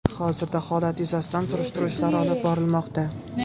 Hozirda holat yuzasidan surishtiruv ishlari olib borilmoqda.